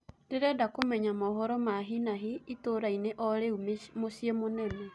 ndĩrenda kumenya mohoro ma hĩ na hĩ itũra ini o rĩũ mũcĩĩ munene